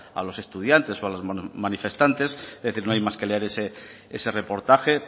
a los estudiantes o a los manifestantes es decir no hay más que leer ese reportaje